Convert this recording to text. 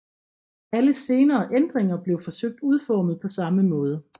Alle senere ændringer blev forsøgt udformet på samme måde